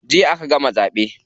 Jiya aka gama zaɓe.